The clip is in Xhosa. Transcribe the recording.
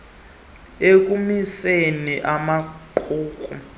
ukoyisakala ekumiseni amaqumrhu